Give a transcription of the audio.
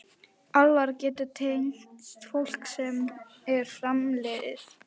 Álfar geta tengst fólki sem er framliðið.